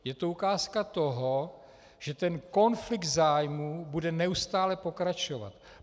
Je to ukázka toho, že ten konflikt zájmů bude neustále pokračovat.